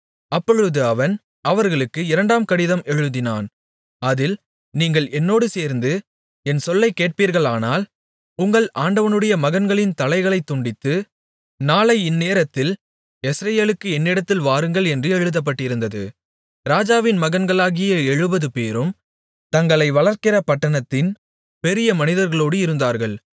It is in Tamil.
அப்பொழுது அவன் அவர்களுக்கு இரண்டாம் கடிதத்தை எழுதினான் அதில் நீங்கள் என்னோடு சேர்ந்து என் சொல்லைக் கேட்பீர்களானால் உங்கள் ஆண்டவனுடைய மகன்களின் தலைகளைத் துண்டித்து நாளை இந்நேரத்தில் யெஸ்ரயேலுக்கு என்னிடத்தில் வாருங்கள் என்று எழுதப்பட்டிருந்தது ராஜாவின் மகன்களாகிய எழுபதுபேரும் தங்களை வளர்க்கிற பட்டணத்தின் பெரிய மனிதர்களோடு இருந்தார்கள்